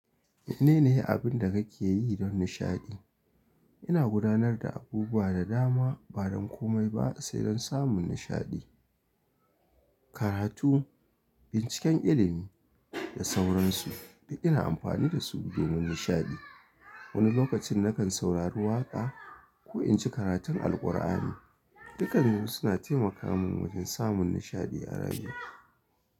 Menene abin da kake yi don nishaɗi? Ina gudanar da abubuwa da dama ba don komai ba sai don samun nishaɗi. Karatu, binciken ilimi da sauransu, da ina amfani da su domin nishaɗi. Wani lokacin nakan saurari waƙa ko in ci karatun Alkur'ani. Dukansu suna taimaka min wajen samun nishaɗi a rayuwa.